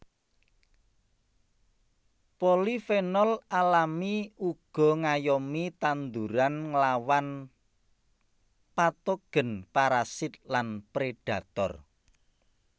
Polifenol alami uga ngayomi tanduran nglawan patogen parasit lan predator